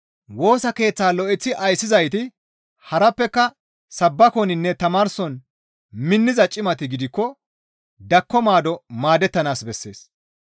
Woosa keeththaa lo7eththi ayssizayti harappeka sabbakoninne tamaarson minniza cimati gidikko dakko maado maadettanaas bessees.